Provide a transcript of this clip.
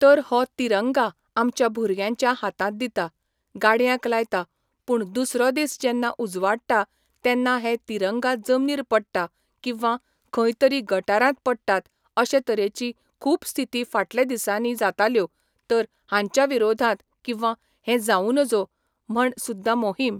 तर हो तिरंगा आमच्या भुरग्यांच्या हातांत दिता, गाडयांक लायता पूण दुसरो दीस जेन्ना उजवाडटा तेन्ना हे तिरंगा जमनीर पडटा किंवां खंय तरी गटारांत पडटात अशें तरेची खूब स्थिती फाटले दिसांनी जाताल्यो तर हांच्या विरोधात किंवा हें जावूं नजो म्हण सुद्दां मोहीम